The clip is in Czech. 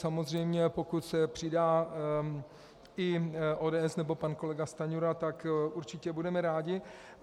Samozřejmě pokud se přidá i ODS nebo pan kolega Stanjura, tak určitě budeme rádi.